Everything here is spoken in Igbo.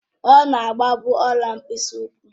Ọ̀ na-agba bụ ọ̀la mkpịsị ụkwụ